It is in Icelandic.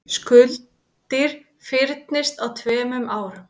Skuldir fyrnist á tveimur árum